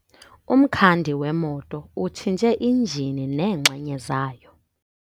Umkhandi wemoto utshintshe injini neenxenye zayo.